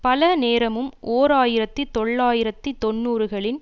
பல நேரமும் ஓர் ஆயிரத்தி தொள்ளாயிரத்தி தொன்னூறுகளின்